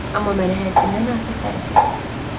Amma mənə həddindən artıq təriflədiniz.